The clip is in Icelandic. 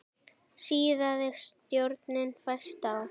Síaði sjórinn fæst á